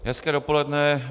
Hezké dopoledne.